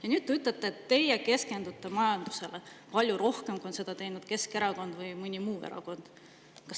Ja nüüd te ütlete, et teie keskendute majandusele palju rohkem, kui seda on teinud Keskerakond või mõni muu erakond.